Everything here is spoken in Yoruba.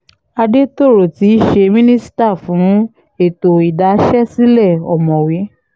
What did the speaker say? àdètòrò tí í ṣe mínísítà fún ètò ìdáṣẹ̀sílẹ̀ ọ̀mọ̀wé